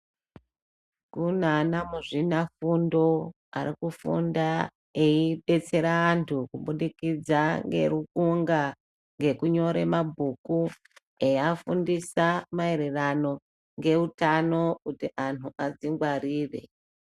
Kuna ana muzvina fundo arikufunda eibetsera antu kubudikidza ngerukunga, ngekunyore mabhuku eiafundisa maererano ngeutano kuti antu adzingwarire.